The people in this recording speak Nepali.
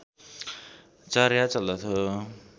चर्या चल्दथ्यो